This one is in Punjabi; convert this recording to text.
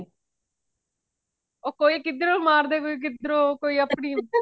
ਉਹ ਕੋਈ ਕਿਧਰੋਂ ਮਾਰਦੇ ਪਏ ਕੋਈ ਕਿਧਰੋਂ ਉਹ ਆਪਣੀ